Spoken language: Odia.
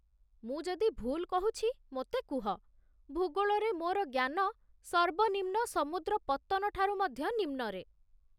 ମୁଁ ଯଦି ଭୁଲ କହୁଛି ମୋତେ କୁହ, ଭୂଗୋଳରେ ମୋର ଜ୍ଞାନ ସର୍ବନିମ୍ନ ସମୁଦ୍ର ପତ୍ତନ ଠାରୁ ମଧ୍ୟ ନିମ୍ନରେ